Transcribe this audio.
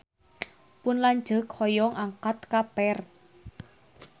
Pun lanceuk hoyong angkat ka Perth